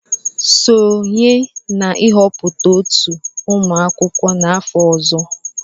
Sonye na nhọpụta otu ụmụ akwụkwọ n'afọ ọzọ!.